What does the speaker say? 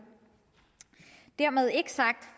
dermed ikke sagt